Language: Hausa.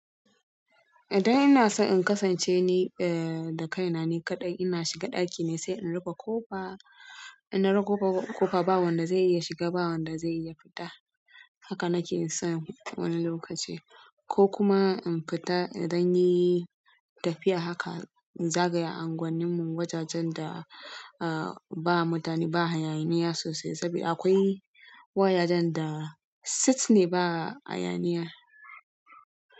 Idan ina son in kasance ni da kaina ni kaɗai, ina shiga ɗaki sai in rufe ƙofa. In na rufe ƙofa, ba wanda zai iya shiga ba wanda zai iya fita. Haka nake son wani lokaci ko kuma in fita idan yi tafiya haka, inzagaya anguwannin mu, wajajen da ba mutane ba hayaniya sosai saboda akwai wajajen da site ne, ba hayaniya.